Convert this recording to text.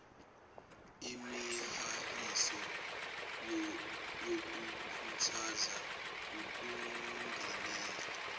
imihahiso yokukhuthaza ukungenela